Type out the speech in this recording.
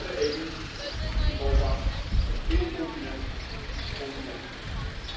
door de EU is Europa een incontinent continent geworden.